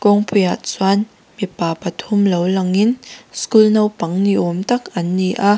kawngpuiah chuan mipa pathum lo langin school naupang ni awm tak an ni a.